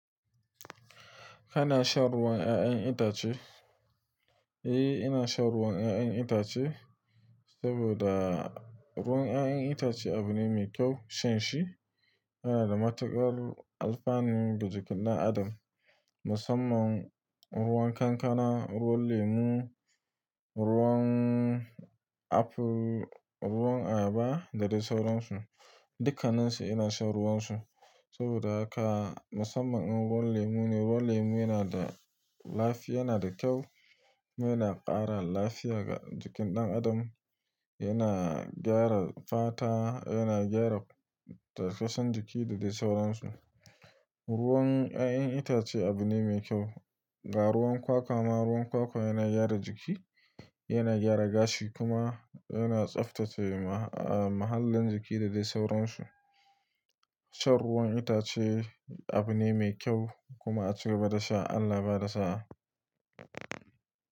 Kana shan ruwan 'ya'yan itace? Eh, ina shan ruwan 'ya'yan itace saboda ruwan 'ya'yan itace abu ne mai kyau shan shi. Yana da matukar alfanu ga jikin ɗan adam, musamman ruwan kankana, ruwan lemu, ruwan apu, ruwan abarba da dai sauran su. Dukkaninsu ina shan ruwan su saboda haka musamman in ruwan lemu ne. Ruwan lemu yana da lafi, yana da kyau. Yana ƙara lafiya ga jikin ɗan adam, yana gyara fata, yana gyara tattausan jiki da dai sauran su. Ruwan 'ya'yan itace abu ne mai kyau. Ga ruwan kwakwa ma, ruwan kwakwa yana gyara jiki, yana gyara gashi kuma yana tsaftace mahallin jiki da dai sauran su. Shan ruwan itace abu ne mai kyau kuma a ci gaba da sha, Allah ya bada sa'a.